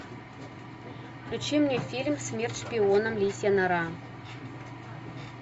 включи мне фильм смерть шпионам лисья нора